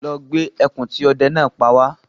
Lọ gbé ẹkùn tí ọdẹ náà pa wá